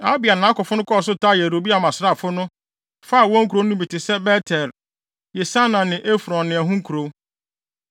Abia ne nʼakofo kɔɔ so taa Yeroboam asraafo no, faa wɔn nkurow no bi te sɛ Bet-El, Yesana ne Efron ne ɛho nkurow.